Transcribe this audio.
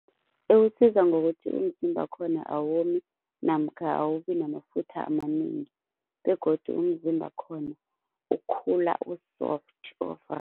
Iwusiza ngokuthi umzimba wakhona awomi namkha awubi namafutha amanengi begodu umzimba wakhona ukhula u-soft